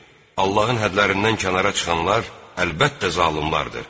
Allahın hədlərindən kənara çıxanlar, əlbəttə zalımlardır.